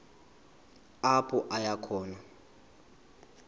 apho aya khona